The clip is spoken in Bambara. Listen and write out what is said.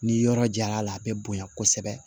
Ni yɔrɔ jar'a la a bɛ bonya kosɛbɛ